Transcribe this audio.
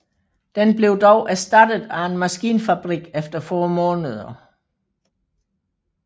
Den blev dog erstattet af en maskinfabrik efter få måneder